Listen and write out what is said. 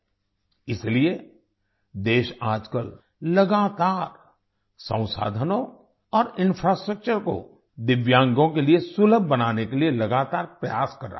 इसीलिए देश आजकल लगातार संसाधनों और इंफ्रास्ट्रक्चर को दिव्यांगों के लिए सुलभ बनाने के लिए लगातार प्रयास कर रहा है